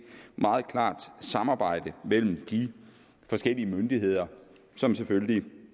meget klart samarbejde mellem de forskellige myndigheder som selvfølgelig